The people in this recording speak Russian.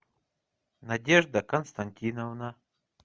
надежда константиновна